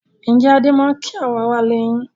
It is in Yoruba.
Ǹjẹ́ Adé máa ń kí àwọn aráalé yín?